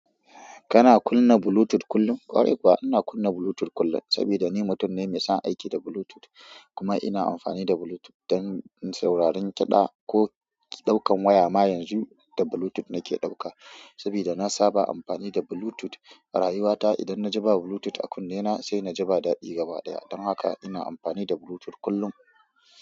Kana kunna Bluetooth kullum? Kwarai kuwa ina kunna Bluetooth kullum saboda ni mutum ne mai son aiki da Bluetooth kuma ina amfani da Bluetooth don sauraron kiɗa ko ɗaukan waya ma yanzu da Bluetooth na ke ɗauka, sabida na saba amfani da Bluetooth rayuwata idan na ji ba bluetooth a kunnena sai na ji ba daɗi gaba ɗaya, dan haka ina amfani da bluetooth kullum.